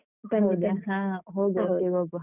ಹ. ಹೋಗ್ವ, ಒಟ್ಟಿಗ್ ಹೋಗ್ವ.